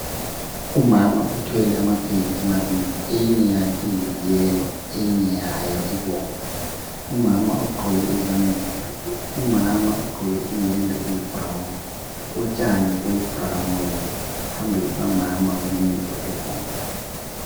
Umama uthwele amapheyili amabili eyinye yayo iyiyellow eyinye yayo ibomvu. Umama ugqoke izambia. Umama ugqoke iyembe eyibrown, utshani buyibrown phambili kukamama kulento ebomvu.